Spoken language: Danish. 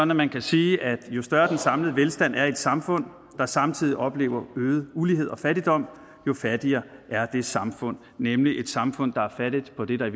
man kan sige at jo større den samlede velstand er i et samfund der samtidig oplever øget ulighed og fattigdom jo fattigere er det samfund det nemlig et samfund der er fattigt på det der i